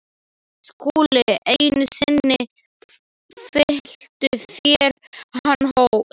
SKÚLI: Einu sinni fylltuð þér þann hóp.